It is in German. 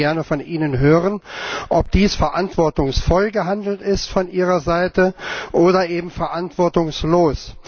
Ich möchte gerne von Ihnen hören, ob dies verantwortungsvoll gehandelt ist von Ihrer Seite oder eben verantwortungslos.